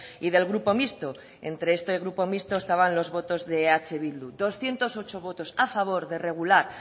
y del grupo mixto entre este grupo mixto estaban los votos de eh bildu doscientos ocho votos a favor de regular